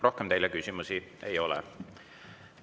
Rohkem teile küsimusi ei ole.